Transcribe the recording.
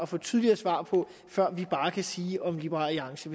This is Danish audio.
få tydeligere svar på før vi kan sige om liberal alliance